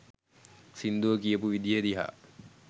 සිංදුව කියපු විදිය දිහා